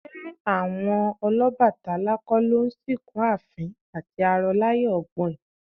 Ṣé àwọn Ọlọ́bàtálá kọ́ ló ń sìnkú àfín àti arọ láyé ọgbọ́in?